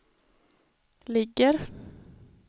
ligger